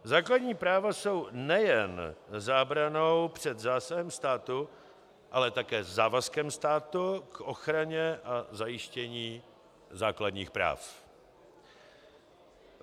Základní práva jsou nejen zábranou před zásahem státu, ale také závazkem státu k ochraně a zajištění základních práv.